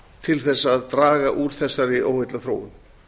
til þess að draga úr þessari óheillaþróun